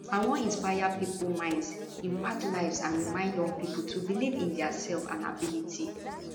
i wan inspire pipo minds impact lives and remind young pipo to believe in dia self and ability